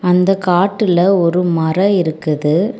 அந்த காட்டுல ஒரு மர இருக்குது.